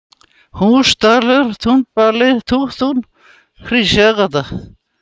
Húsdalur, Túnbali, Úttún, Hríseyjargata